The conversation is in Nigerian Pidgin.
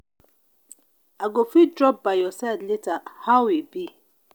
i go fit drop by your side later how e be?